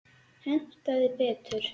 Hentaði betur.